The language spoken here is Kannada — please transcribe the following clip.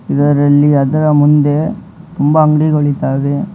ಇದರಲ್ಲಿ ಅದರ ಮುಂದೆ ತುಂಬ ಅಂಗಡಿಗಳಿದ್ದಾವೆ ಮ--